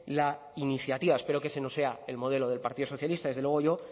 la iniciativa espero que ese no sea el modelo del partido socialista desde luego yo